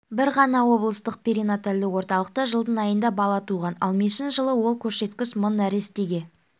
бір ғана облыстық перинатальды орталықта жылдың айында бала туған ал мешін жылы ол көрсеткіш мың нәрестеге